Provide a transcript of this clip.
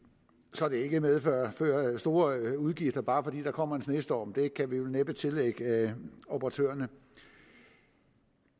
så det ikke medfører store udgifter bare fordi der kommer en snestorm det kan vi vel næppe tillægge operatørerne i